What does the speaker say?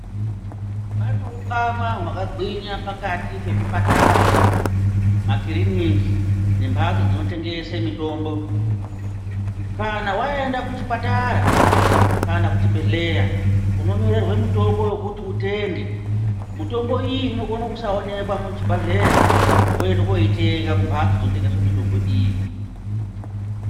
Pane ukama hwakagwinya pakati pezvipatara, makiriniki nemphatso dzinotengese mitombo kana waenda kuchipatara kana kuchibhedhleya unonyorerwa mutombo yokuti utenge mitombo iyi inokone kusaoneka kuchibgedhleya woenda kooitenga kumbhatso dzinotengesa mitombo iyi.